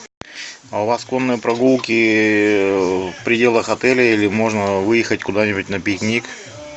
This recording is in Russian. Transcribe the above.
а у вас конные прогулки в пределах отеля или можно выехать куда нибудь на пикник